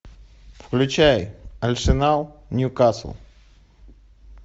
включай арсенал ньюкасл